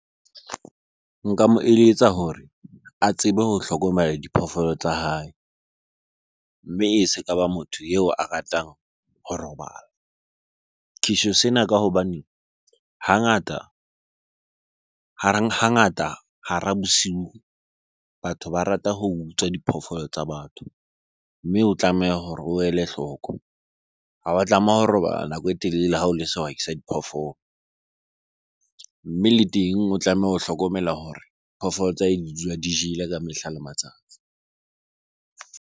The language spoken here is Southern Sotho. Nka mo eletsa hore a tsebe ho hlokomela diphoofolo tsa hae, mme e se ka ba motho eo a ratang ho robala. Ke tjho sena ka hobane hangata hareng hangata hara bosiu, batho ba rata ho utswa diphoofolo tsa batho. Mme o tlameha hore o ele hloko. Ha wa tlameha ho robala nako e telele ha o le sehwai sa diphoofolo. Mme le teng o tlameha ho hlokomela hore phoofolo tsa hae di dula di jele ka mehla le matsatsi.